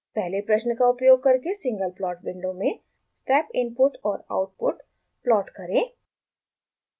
पहले प्रश्न का उपयोग करके सिंगल प्लॉट विंडो में step input और output प्लॉट करें